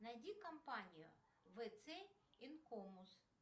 найди компанию вц инкомус